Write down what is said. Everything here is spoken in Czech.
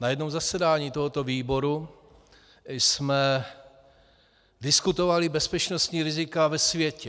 Na jednom zasedání tohoto výboru jsme diskutovali bezpečnostní rizika ve světě.